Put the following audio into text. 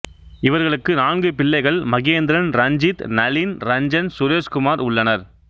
இவர்களுக்கு நான்கு பிள்ளைகள் மகேந்திரன் ரஞ்சித் நளின் ரஞ்சன் சுரேஷ்குமார் உள்ளனர்